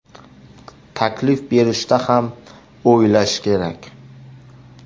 Taklif berishda ham o‘ylash kerak.